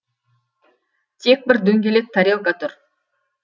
тек бір дөңгелек тарелка тұр